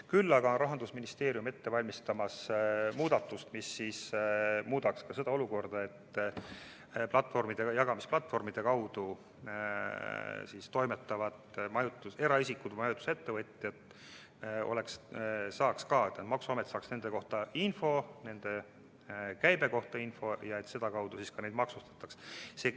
Küll aga valmistab Rahandusministeerium ette muudatust, mis muudaks ka seda olukorda, nii et maksuamet saaks infot ka jagamisplatvormide kaudu toimetavate eraisikute ja majutusettevõtjate käibe kohta ja sedakaudu neidki maksustataks.